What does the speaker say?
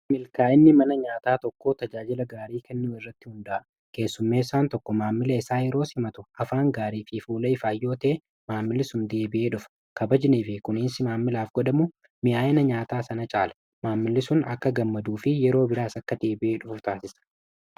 milkaa'inni mana nyaataa tokkoo tajaajila gaarii kennu irratti hundaa'a keessummeessaan tokko maammila isaa yeros simatu hafaan gaarii fi fuula ifaayyootee maammilisum deebi'ee dhufa kabajnee fi kuniinsi maammilaaf godhamu mi'aa'ina nyaataa sana caala maammili sun akka gammaduu fi yeroo biraas akka deebi'ee dhufu taasisa.